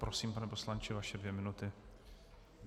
Prosím, pane poslanče, vaše dvě minuty.